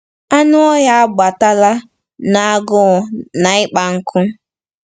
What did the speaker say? Anụ ọhịa agbatala n’agụụ na ịkpa nkụ.